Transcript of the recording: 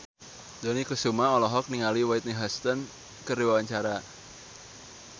Dony Kesuma olohok ningali Whitney Houston keur diwawancara